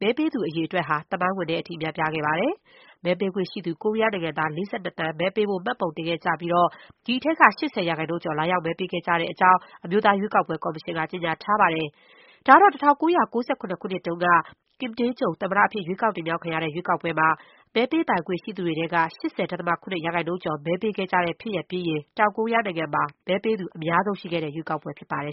မဲပေးသူအရေးအတွက်ဟယ သမိုင်းဝင်တဲ့အထိ များပြားခဲ့ပါတယ်။ မဲပေးခွင့်ရှိသူ ကိုရီးယားနိုင်ငံသား ၄၂ သန်း မဲပေးဖို့မှတ်ပုံတင်ခဲ့ကြပြီး ဒီအထဲက ၈၀ ရာခိုင်နှုန်းကျော် လာရောက်မဲပေးခဲ့ကြတဲ့အကြောင်း အမျိုးသား ရွေးကောက်ပွဲ ကော်မရှင် က ကြေညာထားပါတယ်။ ဒါကတော့ ၁၉၉၇ ခုနှစ်တုန်းက Kim Dae-jung သမ္မတအဖြစ် ရွေးကောက်တင်မြှောက် ခံခဲ့ရတဲ့ ရွေးကောက်ပွဲမှာ မဲပေးပိုင်ခွင့်ရှိသူတွေထဲက ၈၀.၇ ရာခိုင်နှုန်းကျော် မဲပေးခဲ့ကြတဲ့ ဖြစ်ရပ်ပြီးရင် တောင်ကိုရီးယားမှာ မဲပေးသူ အများဆုံး ရှိခဲ့တဲ့ရွေးကောက်ပွဲ ဖြစ်ပါတယ်